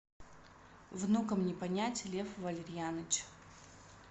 внукам не понять лев валерьяныч